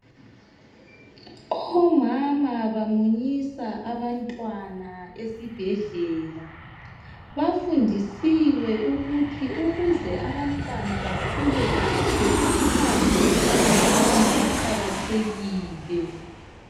Omama bamunyisa abantwana esibhedlela. Bafundisiwe ukuthi ukuze abantwana bakhule kahle , uchago lukamama luqakathekile .